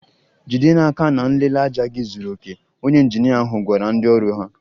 Jide n'aka na nlele ájá gị zuru oke! Onye injinia ahụ gwara ndị ọrụ ahụ.